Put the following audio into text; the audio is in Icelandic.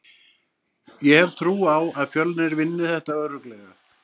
Ég hef trú á að Fjölnir vinni þetta örugglega.